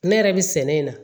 Ne yɛrɛ bɛ sɛnɛ in na